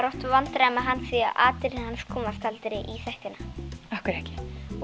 vandræðum með hann því atriðin hans komast aldrei í þættina af hverju ekki